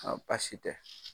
baasi tɛ.